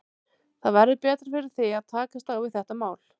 Þá verður betra fyrir þig að takast á við þetta mál.